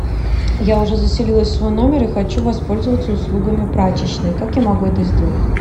я уже заселилась в свой номер и хочу воспользоваться услугами прачечной как я могу это сделать